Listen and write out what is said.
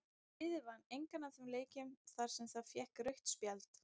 Liðið vann engan af þeim leikjum þar sem það fékk rautt spjald.